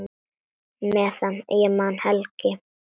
Meðan ég man, Helgi.